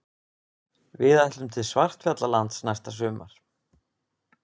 Við ætlum til Svartfjallalands næsta sumar.